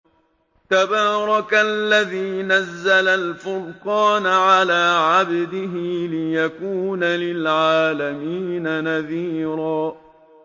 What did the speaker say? تَبَارَكَ الَّذِي نَزَّلَ الْفُرْقَانَ عَلَىٰ عَبْدِهِ لِيَكُونَ لِلْعَالَمِينَ نَذِيرًا